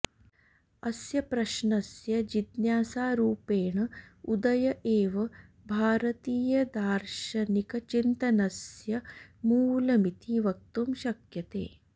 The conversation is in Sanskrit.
अस्य प्रश्नस्य जिज्ञासारूपेण उदय एव भारतीयदार्शनिकचिन्तनस्य मूलमिति वक्तुं शक्यते